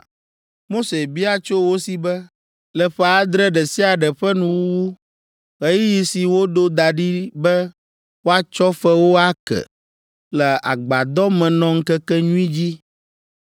Mose bia tso wo si be, “Le ƒe adre ɖe sia ɖe ƒe nuwuwu, ɣeyiɣi si woɖo da ɖi be woatsɔ fewo ake, le Agbadɔmenɔŋkekenyui dzi,